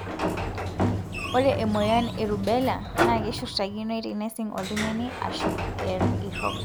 ore emoyian e rubella na keshurtakinoi tenesig oltungani ashu irok,